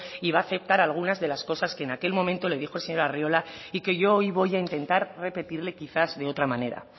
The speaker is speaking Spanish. y va a aceptar algunas de las cosas que en aquel momento le dijo el señor arriola y que yo hoy voy a intentar repetirle quizás de otra manera